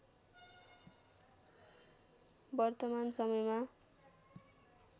वर्तमान समयमा